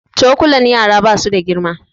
Cokulan yara ba su da girma